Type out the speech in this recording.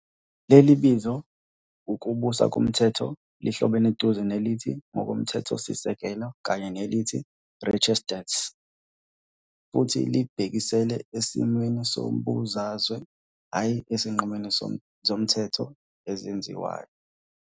Leli bizo ukubusa komthetho lihlobene eduze nelithi ngokomthethosisekelo kanye nelithi "Rechtsstaat" futhi libhekisela esimweni sombusazwe, hhayi ezinqumweni zomthetho ezenziwayo.